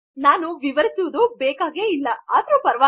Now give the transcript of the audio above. ನಾನು ವಿವರಿಸುವುದೆ ಬೇಕಿಲ್ಲ ಅದರು ಸರಿ